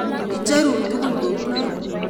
Icherun tugul kounon